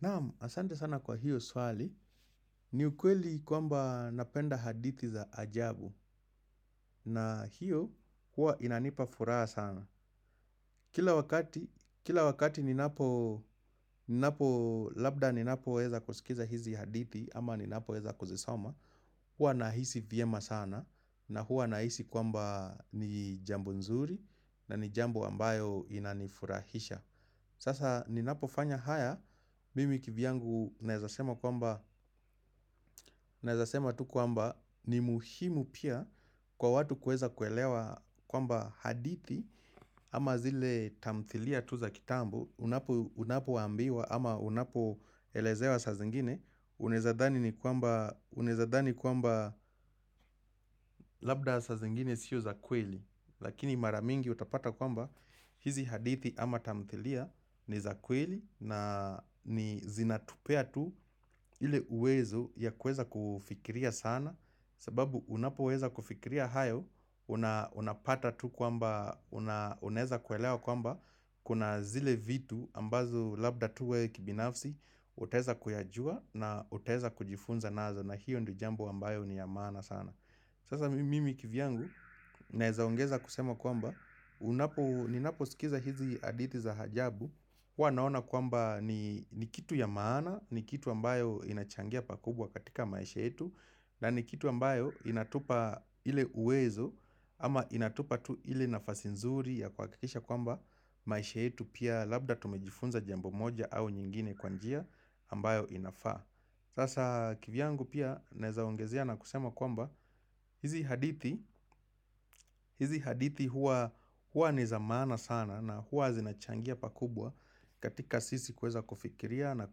Naam, asante sana kwa hiyo swali. Ni ukweli kwamba napenda hadithi za ajabu na hiyo huwa inanipa furaha sana. Kila wakati, kila wakati labda ninapo weza kusikiza hizi hadithi ama ninapo weza kuzisoma, huwa nahisi vyema sana na huwa nahisi kwamba ni jambo nzuri na ni jambo ambayo inanifurahisha. Sasa ninapofanya haya, mimi kivyangu naeza sema tu kwamba ni muhimu pia kwa watu kueza kuelewa kwamba hadithi ama zile tamthilia tu za kitambo, unapoambiwa ama unapoelezewa sa zingine, unaeza dhani kwamba labda sa zingine sio za kweli. Lakini maramingi utapata kwamba hizi hadithi ama tamthilia ni zakweli na ni zinatupea tu ile uwezo ya kueza kufikiria sana sababu unapoweza kufikiria hayo, unapata tu kwamba, unaeza kuelewa kwamba kuna zile vitu ambazo labda tu we kibinafsi utaeza kuyajua na utaeza kujifunza nazo na hiyo ndio jambo ambayo ni ya maana sana Sasa mimi kivyangu naezaongeza kusema kwamba, ninaposikiza hizi hadithi za hajabu, huwa naona kwamba ni kitu ya maana, ni kitu ambayo inachangia pakubwa katika maisha yetu, na ni kitu ambayo inatupa ile uwezo, ama inatupa tu ile nafasi nzuri ya kuhakikisha kwamba maisha yetu pia labda tumejifunza jambo moja au nyingine kwa njia ambayo inafaa. Sasa kivyangu pia naeza ongezea na kusema kwamba hizi hadithi huwa ni za maana sana na huwa zinachangia pakubwa katika sisi kuweza kufikiria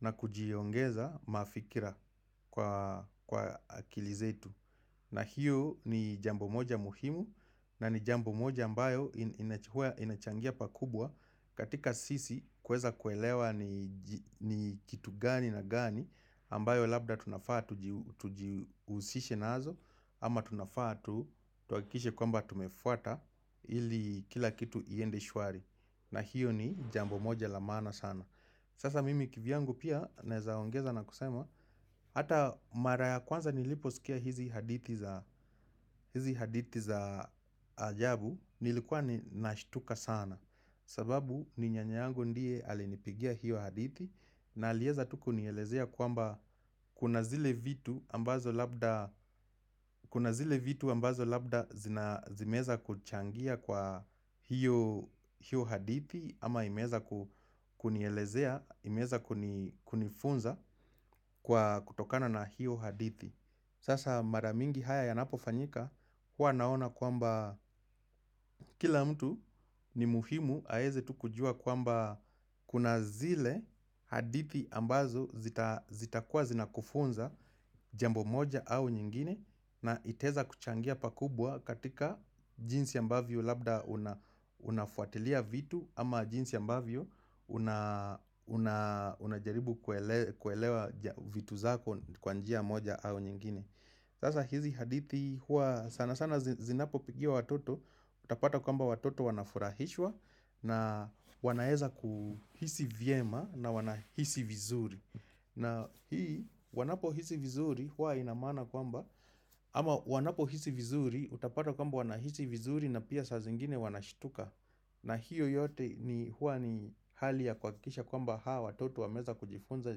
na kujiongeza mafikira kwa akili zetu. Na hiyo ni jambo moja muhimu na ni jambo moja ambayo huwa inachangia pakubwa katika sisi kuweza kuelewa ni kitu gani na gani ambayo labda tunafaa tujiusishe nazo ama tunafaa tuhakikishe kwamba tumefuata ili kila kitu iende shwari. Na hiyo ni jambo moja la maana sana. Sasa mimi kivyangu pia naeza ongeza na kusema, hata mara ya kwanza niliposikia hizi hadithi za ajabu, nilikuwa nashtuka sana. Sababu, ni nyanya yangu ndiye alinipigia hiyo hadithi, na alieza tu kunielezea kwamba kuna zile vitu ambazo labda zimeeza kuchangia kwa hiyo hadithi, Ama imeeza kunielezea, imeeza kunifunza kwa kutokana na hiyo hadithi Sasa mara mingi haya yanapofanyika huwa naona kwamba kila mtu ni muhimu aeze tu kujua kwamba kuna zile hadithi ambazo zitakuwa zinakufunza Jambo moja au nyingine na itaeza kuchangia pakubwa katika jinsi ambavyo labda unafuatilia vitu Ama jinsi ambavyo unajaribu kuelewa vitu zako kwa njia moja au nyingine Sasa hizi hadithi hua sana sana zinapopigiwa watoto Utapata kwamba watoto wanafurahishwa na wanaeza kuhisi vyema na wanahisi vizuri na hii wanapohisi vizuri hua ina maana kwamba Ama wanapohisi vizuri utapata kwamba wanahisi vizuri na pia saa zingine wanashtuka na hiyo yote ni huwa ni hali ya kuhakikisha kwamba hawa watoto wameweza kujifunza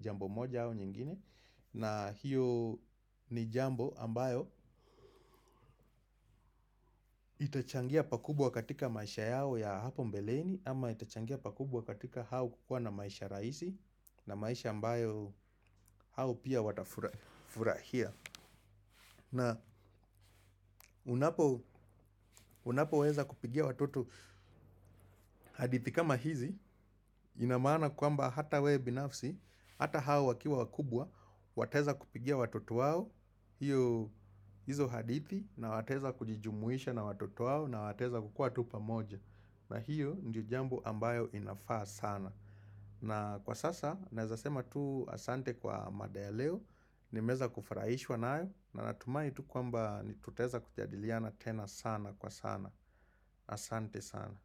jambo moja au nyingine na hiyo ni jambo ambayo itachangia pakubwa katika maisha yao ya hapo mbeleni Ama itachangia pakubwa katika hao kukua na maisha rahisi na maisha ambayo hao pia watafurahia na unapoweza kupigia watoto hadithi kama hizi ina maana kwamba hata wewe binafsi hata wao wakiwa wakubwa wataeza kupigia watoto wao hio hizo hadithi na wataeza kujijumuisha na watoto wao na wataeza kukuwa pamoja na hio ndio jambo ambayo inafaa sana na kwa sasa naeza sema tu asante kwa mada ya leo nimeweza kufurahishwa nayo na hatimaye tu kwamba tutaeza kujadiliana tena sana kwa sana, asante sana.